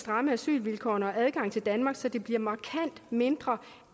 stramme asylvilkårene og adgangen til danmark så det bliver markant mindre